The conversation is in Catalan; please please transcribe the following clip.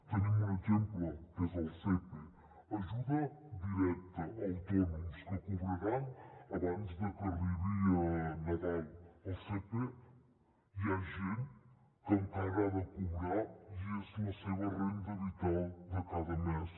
tenim un exemple que és el sepe ajuda directa a autònoms que cobraran abans de que arribi nadal del sepe hi ha gent que encara ha de cobrar i és la seva renda vital de cada mes